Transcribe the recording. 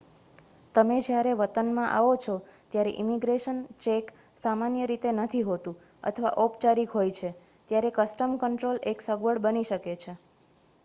તમે જ્યારે વતનમાં આવો છો ત્યારે ઈમિગ્રેશન ચેક સામાન્ય રીતે નથી હોતું અથવા ઔપચારિક હોય છે ત્યારે કસ્ટમ કંટ્રોલ એક અગવડ બની શકે છે